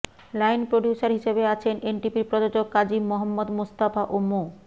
line producer হিসেবে আছেন এনটিভির প্রযোজক কাজী মোহাম্মদ মোস্তফা ও মো